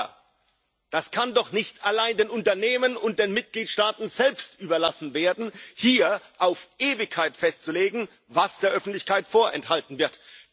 Aber das kann doch nicht allein den Unternehmen und den Mitgliedstaaten selbst überlassen werden, hier auf Ewigkeit festzulegen, was der Öffentlichkeit vorenthalten wird.